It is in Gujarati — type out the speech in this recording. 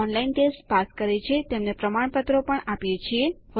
જેઓ ઓનલાઇન ટેસ્ટ પાસ કરે છે તેમને પ્રમાણપત્રો પણ આપીએ છીએ